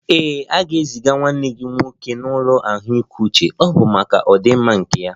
Ee, a ga-eziga nwanne gị nwoke n'ụlọ ahụike uche, ọ bụ maka ọdịmma nke ya